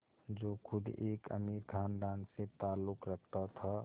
जो ख़ुद एक अमीर ख़ानदान से ताल्लुक़ रखता था